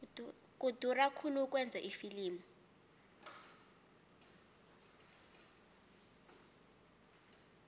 kudura khulu ukwenza ifilimu